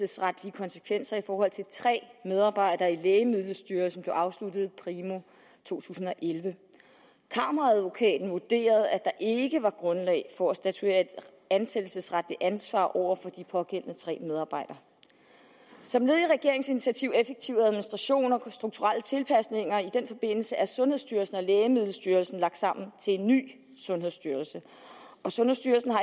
konsekvenser i forhold til tre medarbejdere i lægemiddelstyrelsen blev afsluttet primo to tusind og elleve kammeradvokaten vurderede at der ikke var grundlag for at statuere et ansættelsesretligt ansvar over for de pågældende tre medarbejdere som led i regeringens initiativ effektiv administration og de strukturelle tilpasninger i den forbindelse er sundhedsstyrelsen og lægemiddelstyrelsen blevet lagt sammen til en ny sundhedsstyrelse og sundhedsstyrelsen har